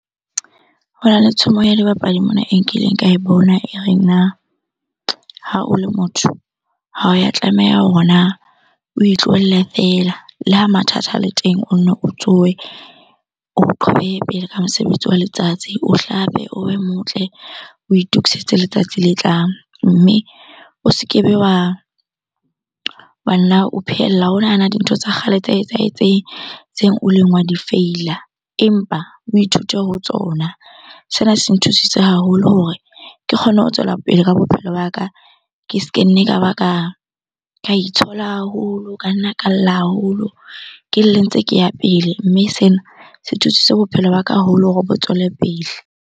Hona le tshomo ya dibapadi mona e nkileng ka e bona e reng, na ha o le motho ha ya tlameha hore na o itlohelle fella. Le ha mathata a le teng o nno o tsohe o pele ka mosebetsi wa letsatsi. O hlape, o be motle, o itokisetse letsatsi le tlang mme o se ke be wa nna o phehella. O nahana dintho tsa kgale tse etsahetseng tseo o ileng wa di feila, empa o ithute ho tsona. Sena se nthusitse haholo hore ke kgone ho tswela pele ka bophelo ba ka, ke se ke nne ka ba ka itshola haholo, ka nna ka lla haholo. Ke lle ntse ke ya pele, mme sena se thusitse bophelo ba ka haholo hore bo tswele pele.